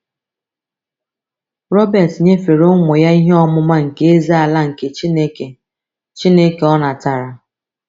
Robert nyefere ụmụ ya ihe ọmụma nke Eze-ala nke Chineke Chineke o natara.